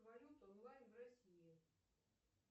валют онлайн в россии